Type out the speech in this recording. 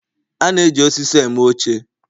A na-eji osisi eme oche